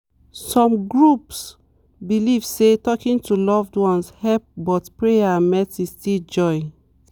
some groups believe say talking to loved ones help but prayer and medicine still join.